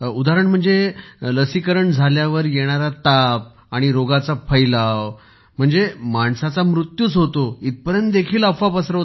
उदाहरण म्हणजे लसीकरण झाल्यावर येणारा ताप आणि रोगाचा फैलाव म्हणजे माणसाच्या मृत्यूच होतो इथपर्यंत देखील अफवा पसरवत आहेत